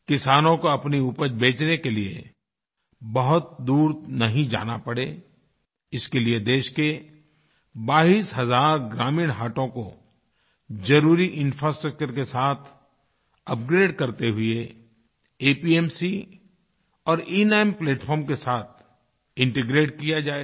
किसानों को अपनी उपज बेचने के लिए बहुत दूर नहीं जाना पड़े इसके लिए देश के 22 हज़ार ग्रामीण हाटों को ज़रुरी इंफ्रास्ट्रक्चर के साथ अपग्रेड करते हुए एपीएमसी और एनाम प्लैटफार्म के साथ इंटीग्रेट किया जाएगा